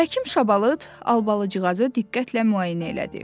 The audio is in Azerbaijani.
Həkim Şabalıd Albalıqcıqazı diqqətlə müayinə elədi.